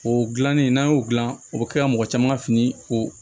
O dilannen n'a y'o gilan o bɛ kɛ mɔgɔ caman ka fini ko